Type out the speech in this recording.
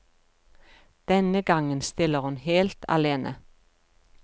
Denne gangen stiller hun helt alene.